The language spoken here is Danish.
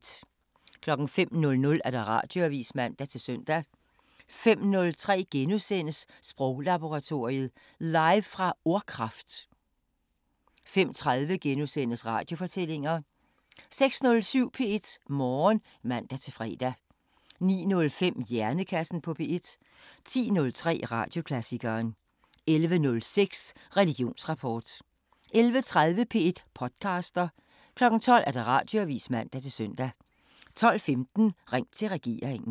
05:00: Radioavisen (man-søn) 05:03: Sproglaboratoriet: Live fra Ordkraft * 05:30: Radiofortællinger * 06:07: P1 Morgen (man-fre) 09:05: Hjernekassen på P1 10:03: Radioklassikeren 11:06: Religionsrapport 11:30: P1 podcaster 12:00: Radioavisen (man-søn) 12:15: Ring til regeringen